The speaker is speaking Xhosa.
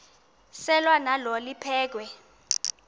selwa nalo liphekhwe